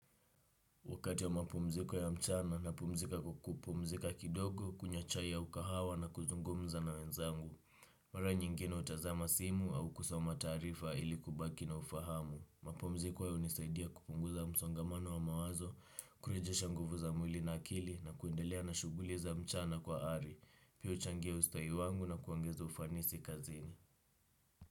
Wakati wa mapumziko ya mchana napumzika kwa kupumzika kidogo, kunywa chai ya mkahawa na kuzungumza na wenzangu. Mara nyingine hutazama simu au kusoma taarifa ilikubaki na ufahamu. Mapumziko yananisaidia kupunguza msongamano wa mawazo, kurejesha nguvu za mwili na akili na kuendelea na shughuli za mchana kwa ari. Pia huchangia ustahi wangu na kuongeza ufanisi kazini.